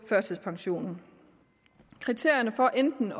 førtidspension kriterierne for enten